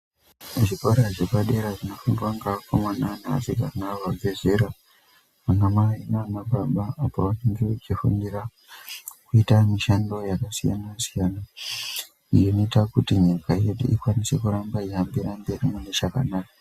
Zvikora zvepadera zvinofundwa nevakomana nevasikana vabvazera vana mai nana baba apo vanenge vachifundira kuita mishando yakasiyana siyana iyo inoita kuti nyika yedu ikwanise kuenderera mberi mune zvakanaka .